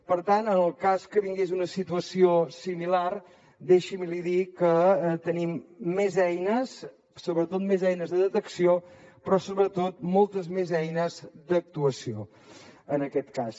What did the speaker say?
per tant en el cas que vingués una situació similar deixi’m que li digui que tenim més eines sobretot més eines de detecció però sobretot moltes més eines d’actuació en aquest cas